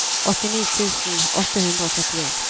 åttini tusen åtte hundre og trettien